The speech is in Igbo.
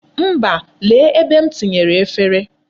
Mba, lee ebe m tinyere efere.